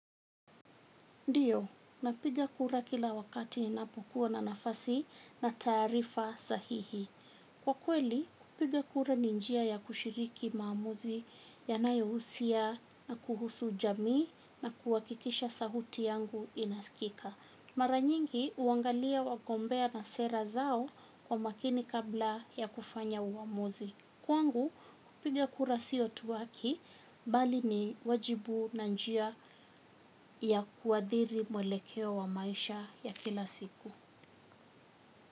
Ndiyo, napiga kura kila wakati inapokuwa na nafasi na taarifa sahihi. Kwa kweli, kupiga kura ni njia ya kushiriki maamuzi yanayohusia na kuhusu jamii na kuhakikisha sauti yangu inaskika. Mara nyingi, uangalia wagombea na sera zao kwa makini kabla ya kufanya uamuzi. Kwangu kupiga kura sio tu haki bali ni wajibu na njia ya kuadhiri mwelekeo wa maisha ya kila siku.